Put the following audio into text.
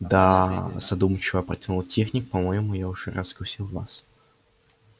да задумчиво протянул техник по-моему я уже раскусил вас